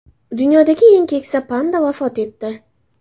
Dunyodagi eng keksa panda vafot etdi.